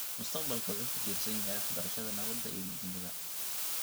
Mustaqbalka wuxuu ku tiirsan yahay waxbarashada nabadda iyo midnimada.